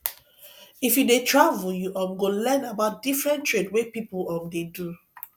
if you dey travel you um go learn about different trade wey pipo um dey do